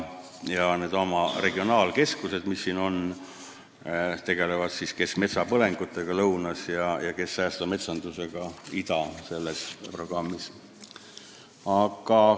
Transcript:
Instituudi regionaalkeskused tegelevad näiteks metsapõlengutega lõunas ja säästva metsandusega idaprogrammi raames.